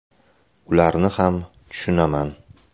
Ularni ham tushunaman.